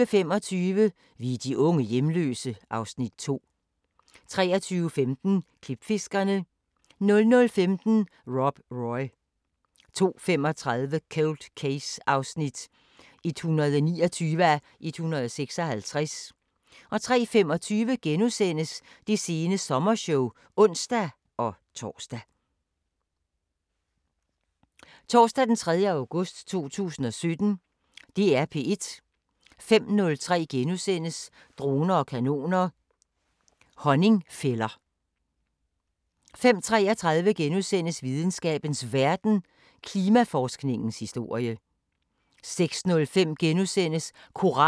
05:03: Droner og kanoner: Honningfælder * 05:33: Videnskabens Verden: Klimaforskningens historie * 06:05: Koranskolen på P1 (Afs. 5)* 10:03: Sigges sommer: Salg af statslige giganter 11:03: En Stasi-mands død 5:6: Den russiske ven 11:33: Radiofortællinger: En lærerig afstikker 13:03: P1 Dokumentar: De glemte børn 13:30: Harddisken: Hvad er dine data værd? 18:50: Danmark kort 19:03: Koranskolen på P1 (Afs. 5)*